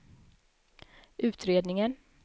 utredningen